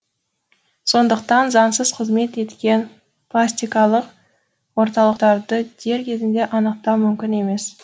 сондықтан заңсыз қызмет еткен пластикалық орталықтарды дер кезінде анықтау мүмкін емес